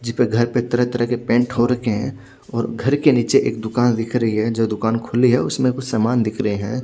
जीपे घर पे तरह तरह के पेंट हो रखे है और घर के निचे एक दूकान दिख रही है जो दुकान खुल्ली है उसमे कुछ सामान दिख रहे है।